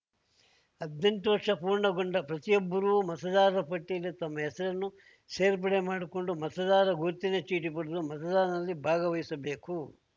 ಹದ್ನೆಂಟು ವರ್ಷ ಪೂರ್ಣಗೊಂಡ ಪ್ರತಿಯೊಬ್ಬರೂ ಮತದಾರರ ಪಟ್ಟಿಯಲ್ಲಿ ತಮ್ಮ ಹೆಸರನ್ನು ಸೇರ್ಪಡೆ ಮಾಡಿಕೊಂಡು ಮತದಾರರ ಗುರುತಿನ ಚೀಟಿ ಪಡೆದು ಮತದಾನದಲ್ಲಿ ಭಾಗವಹಿಸಬೇಕು